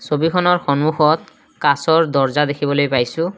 ছবিখনৰ সন্মুখত কাঁচৰ দৰ্জা দেখিবলৈ পাইছোঁ।